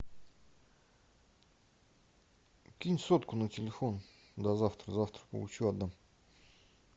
кинь сотку на телефон до завтра завтра получу отдам